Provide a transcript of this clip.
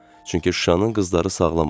Çünki Şuşanın qızları sağlam olur.